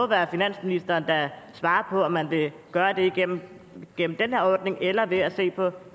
være finansministeren der svarer på om man vil gøre det gennem gennem den her ordning eller ved at se på